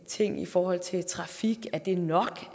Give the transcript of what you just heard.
ting i forhold til trafik er det nok